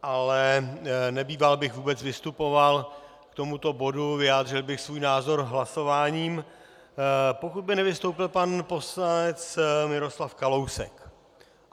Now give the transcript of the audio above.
Ale nebýval bych vůbec vystupoval k tomu bodu, vyjádřil bych svůj názor hlasováním, pokud by nevystoupil pan poslanec Miroslav Kalousek.